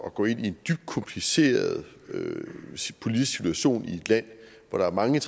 at gå ind i en dybt kompliceret politisk situation i et land hvor der er mange